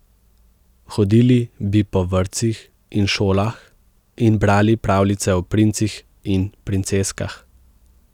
Hodili bi po vrtcih in šolah in brali pravljice o princih in princeskah.